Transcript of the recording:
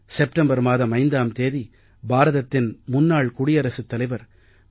September மாதம் 5ஆம் தேதி பாரதத்தின் முன்னாள் குடியரசுத் தலைவர் டா